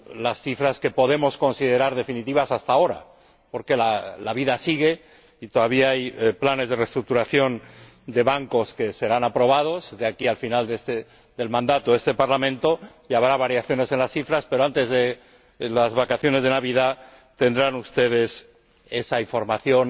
las cifras que podemos considerar definitivas hasta ahora, porque la vida sigue y todavía hay planes de reestructuración de bancos que serán aprobados de aquí hasta el final del mandato de este Parlamento y habrá variaciones en las cifras, pero antes de las vacaciones de Navidad tendrán ustedes esa información